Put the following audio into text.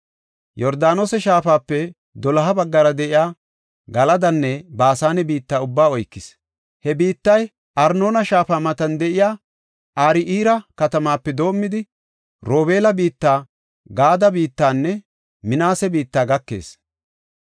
Yordaanose Shaafape doloha baggara de7iya Galadanne Baasane biitta ubbaa oykis. He biittay Arnoona Shaafa matan de7iya Aro7eera katamaape doomidi, Robeela biitta, Gaade biittanne Minaase biitta gakees.